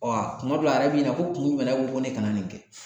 kuma dɔw la, a yɛrɛ b'i ɲinika ko kun jumɛn na k'e ko ne kana nin kɛ ?